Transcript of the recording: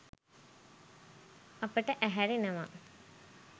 අපට ඇහැරෙනවා.